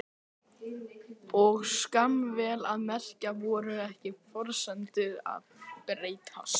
Og skammir, vel að merkja. voru ekki forsendurnar að breytast?